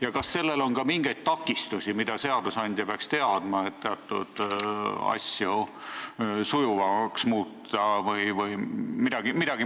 Ja kas sellisel arengul on ka mingeid takistusi, mida seadusandja peaks teadma, et teatud asju sujuvamaks muuta?